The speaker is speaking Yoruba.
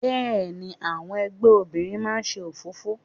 Bẹ́ẹ̀ni, àwọn ẹgbẹ́ obìnrin máa ń ṣe òfófó.